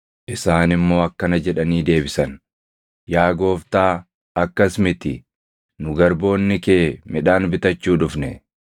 Isaan immoo akkana jedhanii deebisan; “Yaa gooftaa akkas miti; nu garboonni kee midhaan bitachuu dhufne.